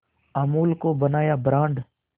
अमूल को बनाया ब्रांड